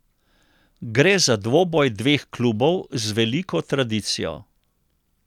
Gre za dvoboj dveh klubov z veliko tradicijo.